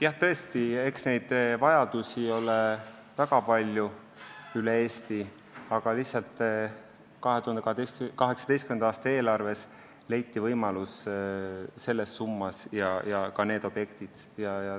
Jah, tõesti, eks neid vajadusi ole väga palju üle Eesti, aga lihtsalt 2018. aasta eelarves leiti võimalus selleks summaks ja need objektid.